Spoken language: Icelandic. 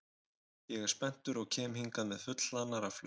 Ég er spenntur og kem hingað með fullhlaðnar rafhlöður.